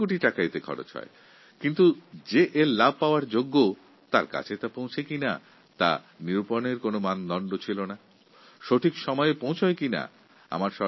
এর জন্য কয়েক কোটি টাকা খরচ হয় কিন্তু যোগ্য ব্যক্তির কাছে এই লাভ সময় মতো পৌঁছচ্ছে কি না তার কোনও হিসাবনিকাশ ছিল না